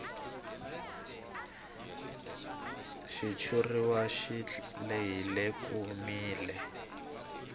xitshuriwa xi lehile komile